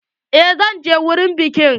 Eh zan je wurin bikin.